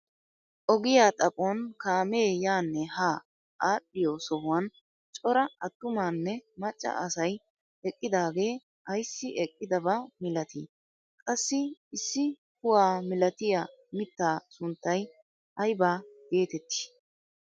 Ogiyaa xaphon kaamee yaanne haa adhiyoo sohuwaan cora attumanne macca asay eqqidaage aysi eqqidaba milatii? qassi issi kuwa milatiyaa mittaa sunttay ayba getettii?